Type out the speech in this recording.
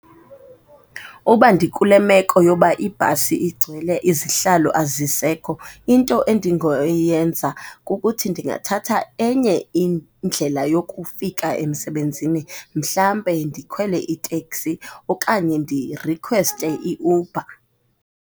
Uba ndikule meko yoba ibhasi igcwele, izihlalo azisekho, into endingoyenza kukuthi ndingathatha enye indlela yokufika emsebenzini, mhlambe ndikhwele iteksi okanye ndirikhweste iUber.